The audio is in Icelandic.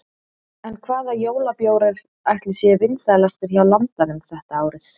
En hvaða jólabjórar ætli séu vinsælastir hjá landanum þetta árið?